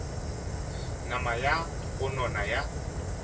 nama ya go nona ya